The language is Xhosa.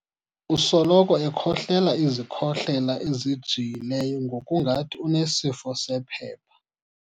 Usoloko ekhohlela izikhohlela ezjiyileyo ngokungathi unesifo sephepha.